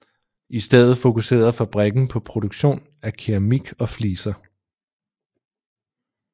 I stedet fokuserede fabrikken på produktion af keramik og fliser